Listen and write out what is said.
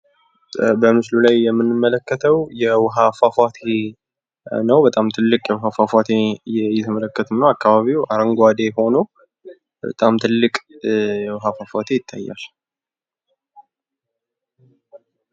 በምስሉ ላይ የምንመለከተው የውሃ ፏፏቴ ነው። በጣም ትልቅ የውሃ ፏፏቴ እየተመለከትን ነው ። አካባቢው አረንጓዴ ሆኖ በጣም ትልቅ የውሃ ፏፏቴ ይታያል ።